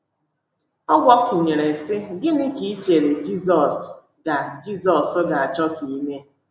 Ọ gbakwụnyere, sị, “ Gịnị ka i chere Jizọs ga Jizọs ga - achọ ka ị mee? ”